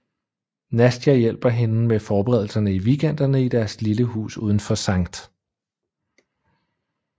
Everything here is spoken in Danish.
Nastia hjælper hende med forberedelserne i weekenderne i deres lille hus udenfor Skt